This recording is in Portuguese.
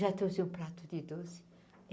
Já trouxe o prato de doce.